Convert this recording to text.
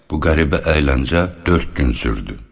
Bu qəribə əyləncə dörd gün sürdü.